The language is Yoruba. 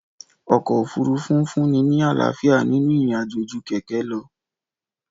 Ọkọ òfurufú fúnni ní àlàáfíà ninu ìrìn àjò ju kẹkẹ lọ